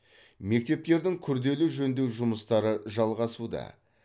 мектептердің күрделі жөндеу жұмыстары жалғасуда